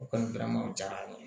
O kɔni gɛlɛmaw jara n ye